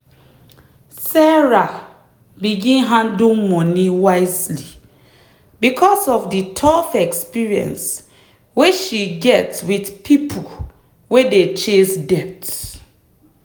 sarah begin handle money wisely because of the tough experience wey she get with people wey dey chase debt.